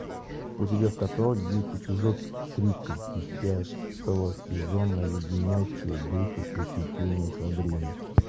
у тебя в каталоге есть эпизод тридцать десятого сезона леденящие душу приключения сабрины